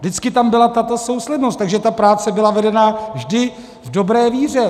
Vždycky tam byla tato souslednost, takže ta práce byla vedena vždy v dobré víře.